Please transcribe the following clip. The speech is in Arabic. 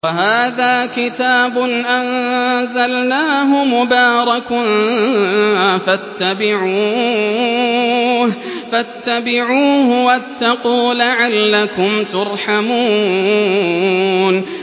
وَهَٰذَا كِتَابٌ أَنزَلْنَاهُ مُبَارَكٌ فَاتَّبِعُوهُ وَاتَّقُوا لَعَلَّكُمْ تُرْحَمُونَ